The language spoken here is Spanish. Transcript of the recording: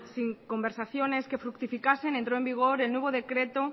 sin conversaciones que fructificasen entró en vigor el nuevo decreto